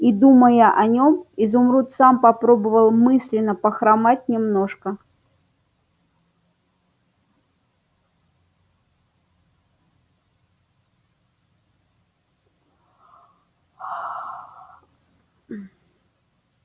и думая о нём изумруд сам попробовал мысленно похромать немножко